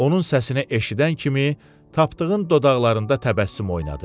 Onun səsini eşidən kimi Tapdığın dodaqlarında təbəssüm oynadı.